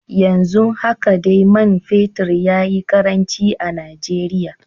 Yanzu haka dai man fetur ya yi karanci a Najeriya.